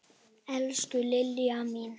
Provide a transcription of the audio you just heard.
Elsku Liljan mín.